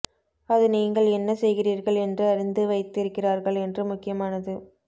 அது நீங்கள் என்ன செய்கிறீர்கள் என்று அறிந்து வைத்திருக்கிறார்கள் என்று முக்கியமானது